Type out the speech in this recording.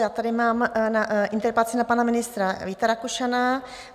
Já tady mám interpelaci na pana ministra Víta Rakušana.